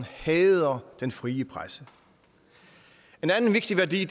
han hader den frie presse en anden vigtig værdi